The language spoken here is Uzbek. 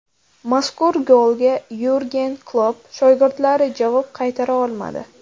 Mazkur golga Yurgen Klopp shogirdlari javob qaytara olmadi.